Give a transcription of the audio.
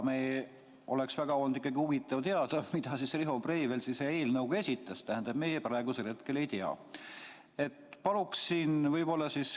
Oleks olnud ikkagi väga huvitav teada, mille Riho Breivel esitas – tähendab, meie praegusel hetkel seda ei tea.